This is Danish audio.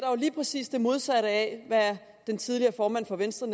lige præcis det modsatte af hvad den tidligere formand for venstre